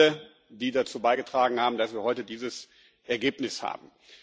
Danke an alle, die dazu beigetragen haben, dass wir heute dieses Ergebnis haben.